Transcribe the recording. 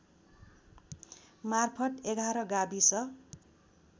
मार्फत् ११ गाविस